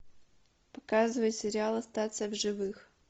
показывай сериал остаться в живых